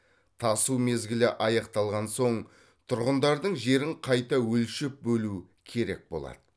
тасу мезгілі аяқталған соң тұрғындардың жерін қайта өлшеп бөлу керек болады